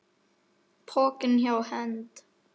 Pokinn hjá Hend